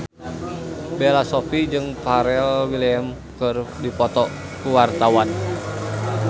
Bella Shofie jeung Pharrell Williams keur dipoto ku wartawan